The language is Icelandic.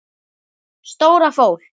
Stóra fól.